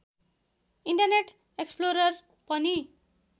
internet Explorer पनि